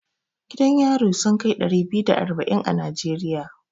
Gidan yari sun kai ɗari biyu da arba'in a Najeriya.